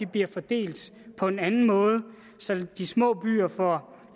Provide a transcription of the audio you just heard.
bliver fordelt på en anden måde så de små byer får